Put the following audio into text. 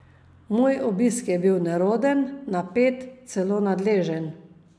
Moj obisk je bil neroden, napet, celo nadležen.